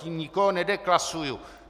Tím nikoho nedeklasuji.